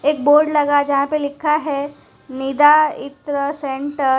एक बोर्ड लगा है जहां पे लिखा है निदा इत्र सेंटर ।